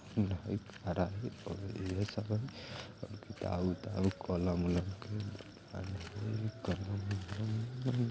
लोग खड़े हई कुछ काम कर रहे हई